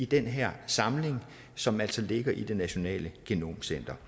den her samling som altså ligger i det nationale genomcenter